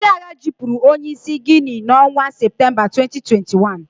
Ndị agha jupuru onye isi ndị Guinea n'onwa September 2021.